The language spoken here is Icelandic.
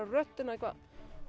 röddina eitthvað